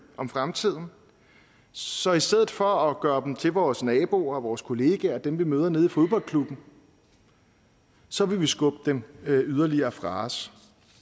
om fremtiden så i stedet for at gøre dem til vores naboer og vores kollegaer og dem vi møder nede i fodboldklubben så vil vi skubbe dem yderligere fra os